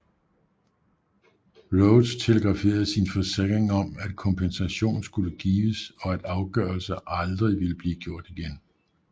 Rhodes telegraferede sin forsikring om at kompensation skulle gives og at afgørelser aldrig ville blive gjort igen